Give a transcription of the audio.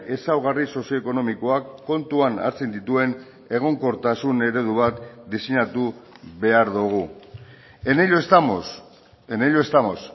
ezaugarri sozio ekonomikoak kontuan hartzen dituen egonkortasun eredu bat diseinatu behar dugu en ello estamos en ello estamos